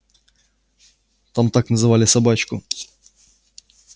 там так называли собачку